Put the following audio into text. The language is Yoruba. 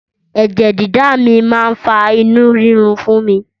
Ẹ̀jẹ̀ dídà mi máa ń fa inú rírun fún mi